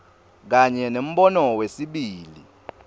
kanye nembono wesibili